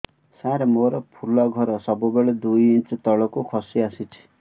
ସାର ମୋର ଫୁଲ ଘର ସବୁ ବେଳେ ଦୁଇ ଇଞ୍ଚ ତଳକୁ ଖସି ଆସିଛି